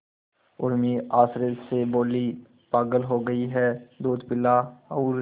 उर्मी आश्चर्य से बोली पागल हो गई है दूध पिला और